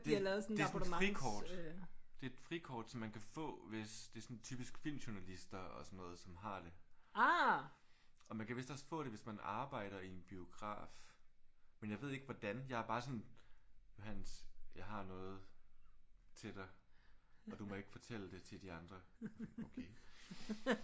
Det det er sådan et frikort. Det er et frikort som man kan få hvis det er sådan typisk filmjournalister og sådan noget som har det. Og man kan vist også få det hvis man arbejder i en biograf. Men jeg ved ikke hvordan. Jeg har bare sådan Johannes jeg har noget til dig og du må ikke fortælle det til de andre. Okay